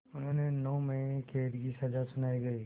उन्हें नौ महीने क़ैद की सज़ा सुनाई गई